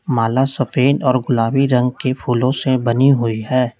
माला सफेद और गुलाबी रंग के फूलों से बनी हुई है।